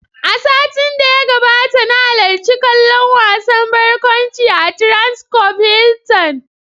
A satin da ya gabata, na halarci kallon wasan barkwanci a "Transcorp Hilton".